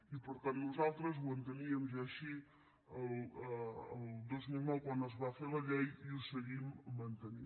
i per tant nosaltres ho enteníem ja així el dos mil nou quan es va fer la llei i ho seguim mantenint